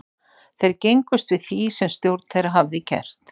Þeir gengust við því sem stjórn þeirra hafði gert.